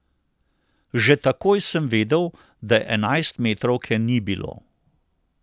Že takoj sem vedel, da enajstmetrovke ni bilo.